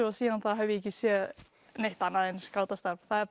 og síðan þá hef ég ekki séð neitt annað en skátastarf það er